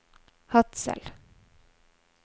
Hadsel